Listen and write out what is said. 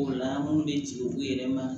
O la an minnu bɛ ci u yɛrɛ ma